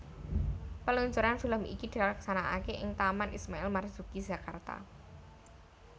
Peluncuran film iki dilaksanakake ing Taman Ismail Marzuki Jakarta